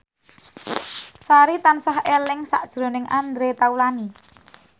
Sari tansah eling sakjroning Andre Taulany